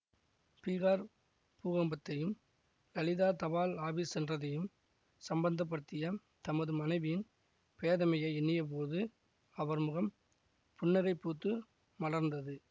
பீஹார் பூகம்பத்தையும் லலிதா தபால் ஆபீஸ் சென்றதையும் சம்பந்தப்படுத்திய தமது மனைவியின் பேதமையை எண்ணியபோது அவர் முகம் புன்னகை பூத்து மலர்ந்தது